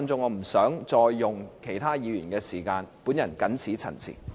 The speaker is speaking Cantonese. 我不想再用其他議員的時間，謹此陳辭。